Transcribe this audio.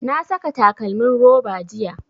Na saka takalmin roba jiya